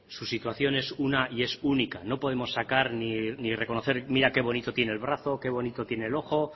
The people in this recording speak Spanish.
su situación es una y es única no podemos sacar ni reconocer mira qué bonito tiene el brazo qué bonito tiene el ojo